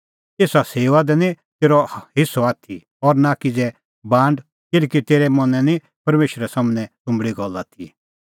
एसा सेऊआ दी निं तेरअ हेस्सअ आथी और नां किज़ै बांड किल्हैकि तेरै मनैं निं परमेशरा सम्हनै सुंबल़ी गल्ल आथी